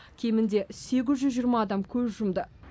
кемінде сегіз жүз жиырма адам көз жұмды